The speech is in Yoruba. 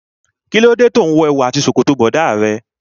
Kí ló dé tí òun wo èwù àti ṣòkòtò bọ̀dá rẹ.